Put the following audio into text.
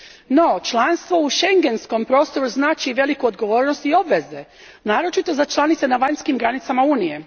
No članstvo u Schengenskom prostoru znači i veliku odgovornost i obveze, naročito za članice na vanjskim granicama Unije.